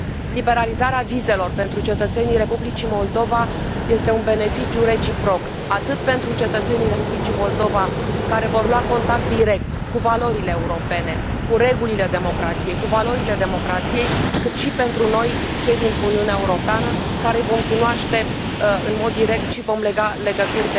Liberalizarea vizelor pentru cetățenii Republicii Moldova este un beneficiu reciproc atât pentru cetățenii Republicii Moldova, care vor lua contact direct cu valorile europene, cu regulile democrației, cu valorile democrației, cât și pentru noi, cei din Uniunea Europeană, care îi vom cunoaște în mod direct și vom lega legături